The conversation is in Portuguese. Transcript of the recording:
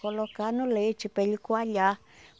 Colocar no leite para ele coalhar.